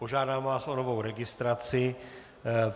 Požádám vás o novou registraci.